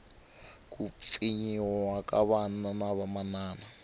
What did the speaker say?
ku pfinyiwa ka vana na vamana